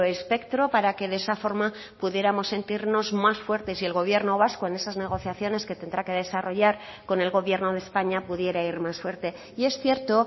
espectro para que de esa forma pudiéramos sentirnos más fuertes y el gobierno vasco en esas negociaciones que tendrá que desarrollar con el gobierno de españa pudiera ir más fuerte y es cierto